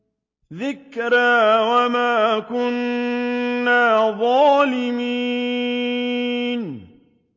ذِكْرَىٰ وَمَا كُنَّا ظَالِمِينَ